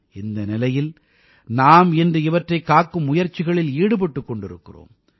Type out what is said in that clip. இந்த நிலையில் நாம் இன்று இவற்றைக் காக்கும் முயற்சிகளில் ஈடுபட்டுக் கொண்டிருக்கிறோம்